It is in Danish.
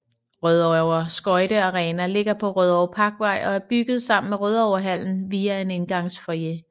Rødovre Skøjte Arena ligger på Rødovre Parkvej og er bygget sammen med Rødovrehallen via en indgangsfoyer